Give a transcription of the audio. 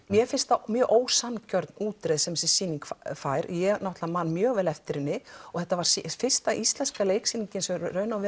mér finnst það mjög ósanngjörn útreið sem þessi sýning fær ég man mjög vel eftir henni þetta var fyrsta íslenska leiksýningin sem